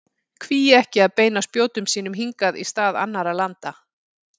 Hví ekki að beina spjótum sínum hingað í stað annarra landa?